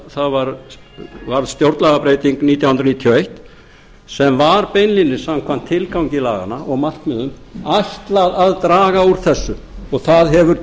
það varð stjórnlagabreyting nítján hundruð níutíu og eitt sem var beinlínis samkvæmt tilgangi laganna og markmiðum ætlað að draga úr þessu og það hefur